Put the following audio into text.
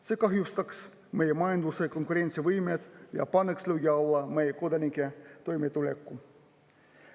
See kahjustaks meie majanduse konkurentsivõimet ja paneks löögi alla meie kodanike toimetuleku.